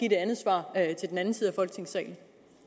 et andet svar til den anden side af folketingssalen